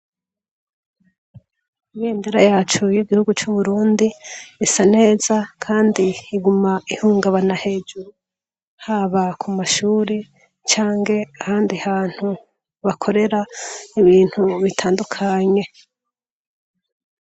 Ibendera yacu y'igihugu c'Uburundi isa neza kandi iguma ihungabana hejuru. Haba ku mashuri canke ahandi hantu bakorera ibintu bitandukanye.